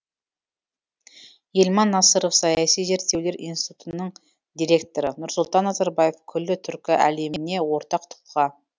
елман насыров саяси зерттеулер институтының директоры нұрсұлтан назарбаев күллі түркі әлеміне ортақ тұлға